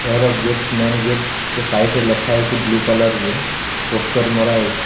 ଏହାର gate main gate two side ରେ ଲେଖା ହେଇଚି ବ୍ଲୁ କଲର୍ ରେ ପୋଷ୍ଟର ମରା ହେଇଛି।